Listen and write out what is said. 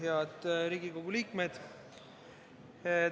Head Riigikogu liikmed!